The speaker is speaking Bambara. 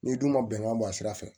N'i dun ma bɛnkan bɔ a sira fɛ